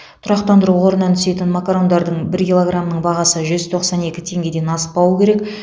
тұрақтандыру қорынан түсетін макарондардың бір килограмының бағасы жүз тоқсан екі теңгеден аспауы керек